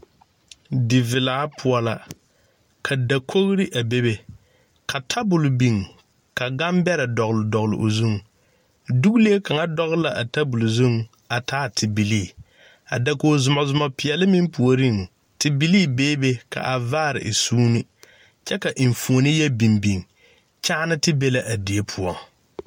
Die velaa poɔ la, ka dakogri a bebe, ka tabol biŋ, ka gane bɛrɛ dɔgle dɔgle o zuŋ, duule kaŋa dɔgle la a tabol zuŋ a taa tebilii, a dakogri zumo zumo peɛle meŋ puoriŋ, tebilii bee be ka a vaare e sunne, kyɛ ka enfuone yɔ biŋ biŋ, kyaaneti be la a die poɔ.